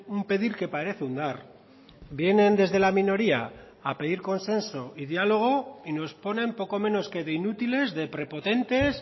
un pedir que parece un dar vienen desde la minoría a pedir consenso y diálogo y nos ponen poco menos que de inútiles de prepotentes